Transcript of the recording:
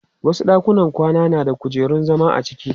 Wasu ɗakunan kwana na da kujerun zama a cikin.